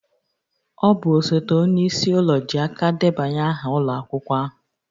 Ọ bụ osote onye isi ụlọ ji aka debanye aha ụlọ akwụkwọ ahụ